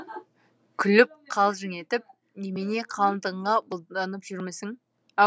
күліп қалжың етіп немене қалыңдығыңа бұлданып жүрмісің